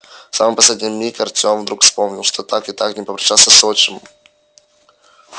в самый последний миг артём вдруг вспомнил что так и не попрощался с отчимом